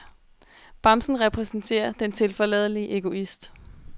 Bamsen repræsenterer den tilforladelige egoist.